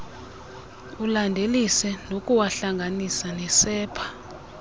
ulandelise ngokuwahlanganisa nesepha